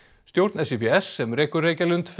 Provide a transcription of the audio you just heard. stjórn SÍBS sem rekur Reykjalund